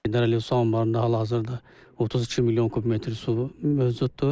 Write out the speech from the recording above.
Heydər Əliyev su anbarında hal-hazırda 32 milyon kub metr su mövcuddur.